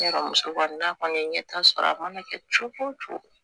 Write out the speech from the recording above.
Ne ka muso kɔni na kɔni ɲɛ t'a sɔrɔ a mana kɛ cogo cogo